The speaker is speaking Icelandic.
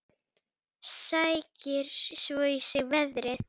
Sækir svo í sig veðrið.